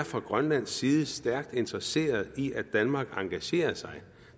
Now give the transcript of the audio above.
fra grønlands side er stærkt interesseret i at danmark engagerer sig